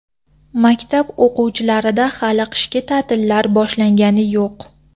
Maktab o‘quvchilarida hali qishki ta’tillar boshlangani yo‘q.